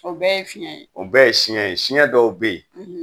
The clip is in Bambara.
O bɛɛ ye fiɲɛ ye? O bɛɛ ye siɲɛ, siɲɛ dɔw be yen